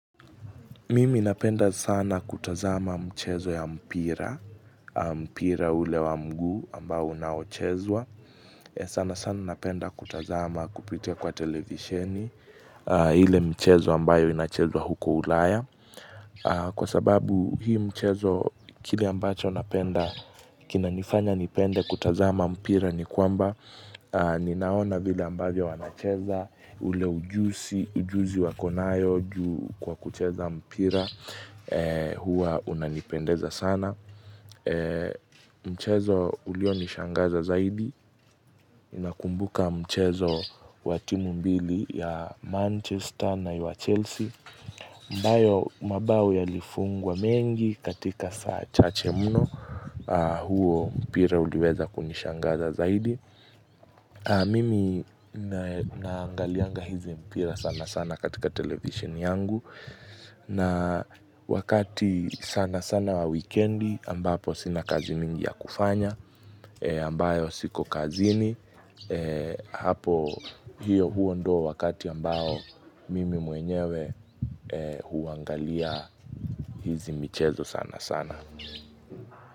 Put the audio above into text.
Mimi napenda sana kutazama mchezo ya mpira, mpira ule wa mguu ambao unaochezwa. Sana sana napenda kutazama kupitia kwa televisheni ile michezo ambayo inachezwa huko ulaya. Kwa sababu hii mchezo kile ambacho napenda, kinanifanya nipende kutazama mpira ni kwamba Ninaona vile ambavyo wanacheza ule ujuzi Ujuzi wako nayo juu Kwa kucheza mpira Huwa unanipendeza sana Mchezo ulio nishangaza zaidi na akumbuka mchezo wa timu mbili ya Manchester na ya Chelsea ambayo mabao yalifungwa mengi katika saa chache mno huo mpira uliweza kunishangaza zaidi Mimi na naangalianga hivi mpira sana sana katika televisheni yangu na wakati sana sana wa wekendi ambapo sina kazi mingi ya kufanya ambayo siko kazini hapo hiyo huwa ndio wakati ambao mimi mwenyewe huangalia hizi michezo sana sana.